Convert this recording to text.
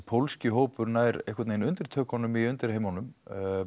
pólski hópurinn nær undirtökunum í undirheimunum